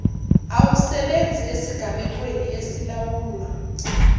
awusebenzi esigamekweni esilawulwa